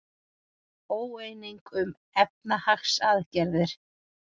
Óeining um efnahagsaðgerðir